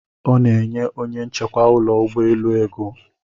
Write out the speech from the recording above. Ọ na-enye onye nchekwa ụlọ ụgbọelu ego.